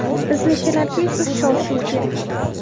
Biznikilarga esa shov-shuv kerak.